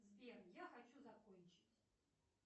сбер я хочу закончить